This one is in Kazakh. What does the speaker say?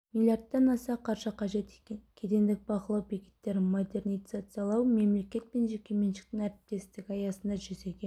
миллиардтан аса қаржы қажет екен кедендік бақылау бекеттерін модернизациялауды мемлекет пен жекеменшіктің әріптестігі аясында жүзеге